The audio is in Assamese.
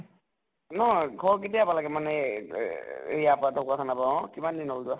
নʼ ঘৰ কেতিয়া পালাগে মানে এই যে ইয়াৰ পৰা ঢ্কুৱাখানাৰ পৰা, অহ । কিমান দিন হʼল যোৱা?